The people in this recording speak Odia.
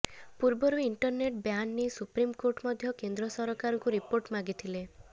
ପୂର୍ବରୁ ଇଣ୍ଟରନେଟ ବ୍ୟାନ ନେଇ ସୁପ୍ରିମକୋର୍ଟ ମଧ୍ୟ କେନ୍ଦ୍ର ସରକାରଙ୍କୁ ରିପୋର୍ଟ ମାଗିଥିଲେ